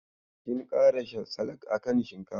Kin kara salak a kan shinkafar?